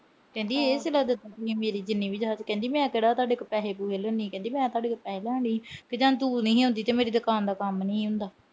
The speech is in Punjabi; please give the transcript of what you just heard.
ਕਹਿੰਦੀ ਇਹ ਸੀਲਾ ਦਿੱਤਾ। ਕਹਿੰਦੀ ਮੈਂ ਕਿਹੜਾ ਤੁਹਾਡੇ ਤੋਂ ਪੈਸੇ-ਪੁਸੈ ਲੈਂਦੀ ਆ। ਕਹਿੰਦੀ ਮੈਂ ਤੁਹਾਡੇ ਤੋਂ ਪੈਸੇ ਤਾਂ ਨੀ ਲੈਣ ਡਈ। ਜਾਂ ਤੂੰ ਨਹੀਂ ਆਉਂਦੀ, ਮੇਰੀ ਦੁਕਾਨ ਦਾ ਕੰਮ ਨਹੀਂ ਹੁੰਦਾ।